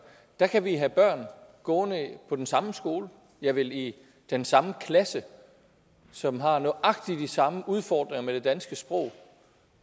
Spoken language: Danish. kan vi have børn gående på den samme skole ja vel i den samme klasse som har nøjagtig de samme udfordringer med det danske sprog